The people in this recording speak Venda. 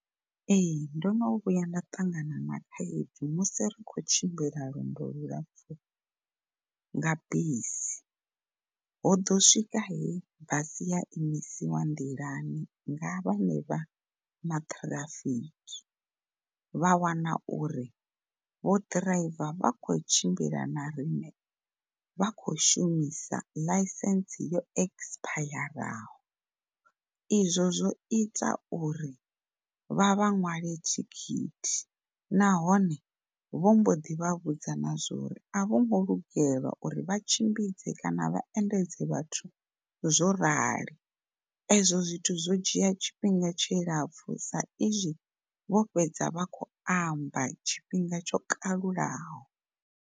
Ee ndono vhuya nda ṱangana na khaedu musi ri kho tshimbila lwendo lu lapfu nga bisi, ho ḓo swika he basi ya imisiwa nḓilani nga vhanevha ma traffic vha wana uri vho ḓiraiva vha kho tshimbila na riṋe vha kho shumisa ḽaisentse yo exipayaraho. Izwo zwo ita uri vha vha ṅwale thikhithi nahone vhomboḓi vha vhudza na zwa uri a vhongo lugelwa uri vha tshimbidze kana vha endedze vhathu zwo rali, ezwo zwithu zwo dzhia tshifhinga tshilapfu sa izwi vho fhedza vha kho amba tshifhinga tsho kalulaho.